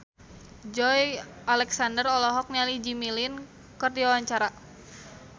Joey Alexander olohok ningali Jimmy Lin keur diwawancara